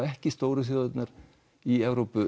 ekki stóru þjóðirnar í Evrópu